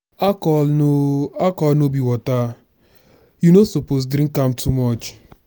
alcohol no alcohol no be water you no suppose drink am too much.